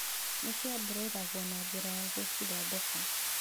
Nĩ ciambũrũragwo na njĩra ya gũcithondeka